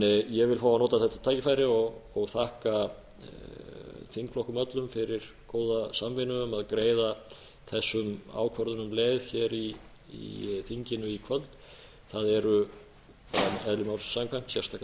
ég vil fá að nota þetta tækifæri og þakka þingflokkum öllum fyrir góða samvinnu um að greiða þessum ákvörðunum leið hér í þinginu í kvöld það eru eðli málsins samkvæmt sérstakar